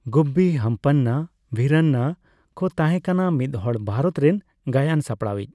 ᱜᱩᱵᱵᱤ ᱦᱟᱢᱯᱟᱱᱱᱟ ᱵᱷᱤᱨᱟᱱᱱᱟ ᱠᱚ ᱛᱟᱸᱦᱮᱠᱟᱱᱟ ᱢᱤᱫᱦᱚᱲ ᱵᱷᱟᱨᱚᱛ ᱨᱮᱱ ᱜᱟᱭᱟᱱ ᱥᱟᱯᱲᱟᱣᱤᱡ ᱾